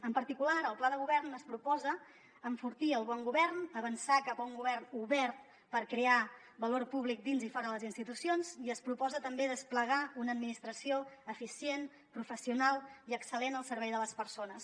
en particular el pla de govern es proposa enfortir el bon govern avançar cap a un govern obert per crear valor públic dins i fora de les institucions i es proposa també desplegar una administració eficient professional i excel·lent al servei de les persones